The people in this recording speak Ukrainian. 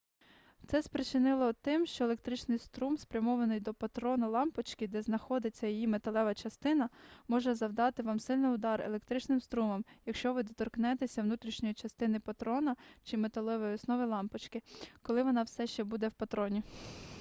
це спричинено тим що електричний струм спрямований до патрона лампочки де знаходиться її металева частина може завдати вам сильний удар електричним струмом якщо ви доторкнетеся внутрішньої частини патрона чи металевої основи лампочки коли вона все ще буде в патроні